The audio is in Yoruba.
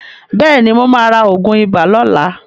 Bẹ́ẹ̀ ni, mó máa ra oògùn ibà lóla.